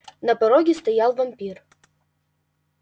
на пороге стоял вампир